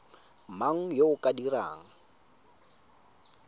mang yo o ka dirang